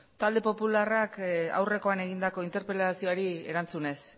talde popularrak aurrekoan egindako interpelazioari erantzunez